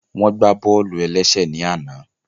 Wọ́n gbá bọ́ọ̀lù-ẹlẹ́sẹ̀ ní àná